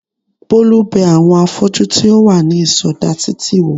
Bólú bẹ àwọn afọ́jú tí ó wà ní ìsọdá títì wò